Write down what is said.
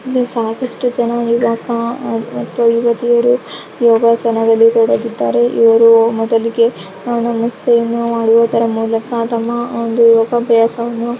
ಇಲ್ಲಿ ಸಾಕಷ್ಟು ಜನ ಯುವಕ ಮತ್ತು ಯುವತಿಯರು ಯೋಗಾಸನದಲ್ಲಿ ತೊಡಗಿದ್ದಾರೆ ಇವರು ಮೊದಲಿಗೆ ನಮಸ್ತೆನ್ನು ಮಾಡುವುದರ ಮೂಲಕ ತಮ್ಮ ಒಂದು ಅಭ್ಯಾಸವನ್ನು .